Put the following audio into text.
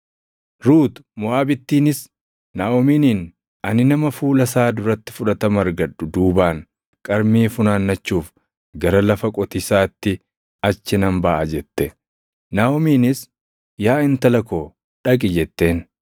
Ruut Moʼaabittiinis Naaʼomiiniin, “Ani nama fuula isaa duratti fudhatama argadhu duubaan qarmii funaannachuuf gara lafa qotiisaatti achi nan baʼa” jette. Naaʼomiinis, “Yaa intala koo dhaqi” jetteen.